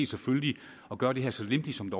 selvfølgelig at gøre det her så lempeligt som